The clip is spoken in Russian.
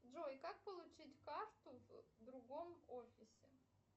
джой как получить карту в другом офисе